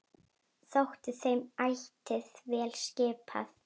Þótti þeim ætíð vel skipað.